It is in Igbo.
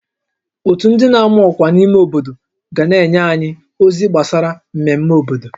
Ótú ndị n'ama ọkwa n'ime obodo ga na-enye anyị ozi gbasara mmemme obodo